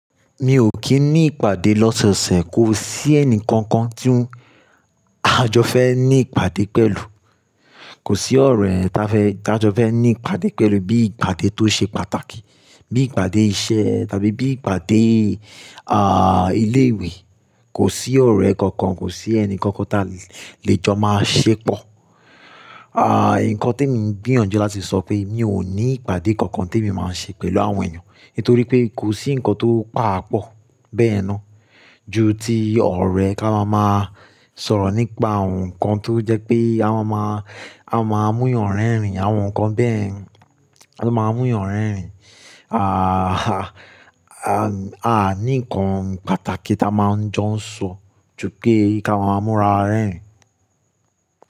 Mi ò kí ní ìpàdé lọ́sọ̀ọ̀sẹ̀, kò sí ẹnì kankan tí n àjọ fẹ́ ní ìpàdé pẹ̀lú. Kò sí ọ̀rẹ́ tá fẹ́ dájọ fẹ́ ní ìpàdé pẹ̀lú bí ìpàdé tó ṣe pàtàkì, bí ìpàdé iṣẹ́ tàbí bí ìpàdé, ah, ilé ìwé. Kò sí ọ̀rẹ́ kankan, kò sí ẹnì kankan ta lè jọ máa ṣépọ. Ah, ǹkan tí mi ń gbìyànjú láti sọ pé mi ò ní ìpàdé kankan tèmi máa ṣe pẹ̀lú àwọn èèyàn. Nítorí pé kò sí ǹkan tó pàápọ̀ bẹ́ẹ̀yen ná ju ti ọ̀rẹ́ kí a máa máa sọ̀rọ̀ nípa àwọn ǹkan tó jẹ́ pé a máa máa, a máa mú ìyàn rerìn rìn, àwọn ǹkan bẹ́ẹ̀ tí ó máa mú ìyàn rerìn rìn. Ah, a ní ǹkan pàtàkì tí a máa ń jọ ń sọ ju pé kí a máa múra rẹ́rìn.